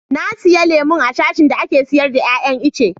Na siya lemun a sashin da ake sayar da iya iyan ice.